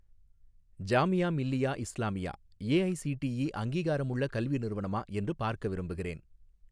ஜாமியா மில்லியா இஸ்லாமியா ஏஐஸிடிஇ அங்கீகாரமுள்ள கல்வி நிறுவனமா என்று பார்க்க விரும்புகிறேன்